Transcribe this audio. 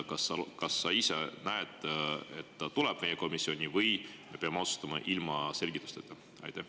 Kas sa ise näed, et ta tuleb meie komisjoni, või peame otsustama ilma selgitusteta?